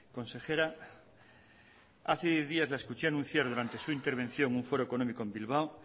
consejera hace diez días la escuché anunciar durante su intervención un foro económico en bilbao